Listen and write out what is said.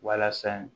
Walasa